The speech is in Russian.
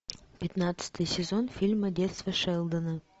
пятнадцатый сезон фильма детство шелдона